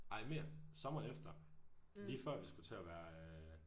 Ej mere! Sommeren efter lige før vi skulle til at være øh